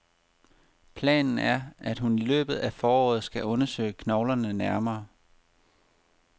Planen er, at hun i løbet af foråret skal undersøge knoglerne nærmere.